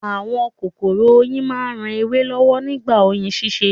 Àwọn kòkòrò oyin ran ewé lọ́wọ́ nípa oyin ṣíṣe